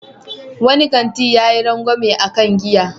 Wani kanti yayi rangwamen a kan giya.